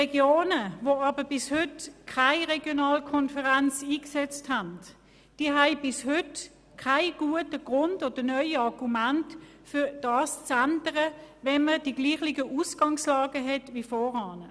Regionen, die bis heute keine Regionalkonferenz eingesetzt haben, haben keinen guten Grund oder keine neuen Argumente, um dies zu ändern, wenn die Ausgangslage gleich bleibt wie vorher.